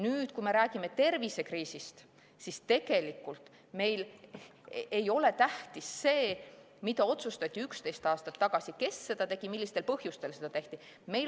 Nüüd, kui me räägime tervisekriisist, siis ei ole tähtis see, mida otsustati 11 aastat tagasi, kes seda tegi, millistel põhjustel seda tehti.